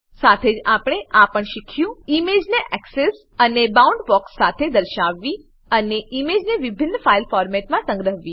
સાથે જ આપણે આ પણ શીખ્યું ઈમેજને એક્સેસ એક્સેસ અને બાઉન્ડબોક્સ બાઉન્ડબોક્સ સાથે દર્શાવવી અને ઈમેજને વિભિન્ન ફાઈલ ફોર્મેટોમાં સંગ્રહવી